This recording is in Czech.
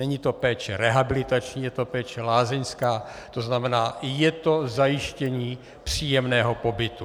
Není to péče rehabilitační, je to péče lázeňská, to znamená je to zajištění příjemného pobytu.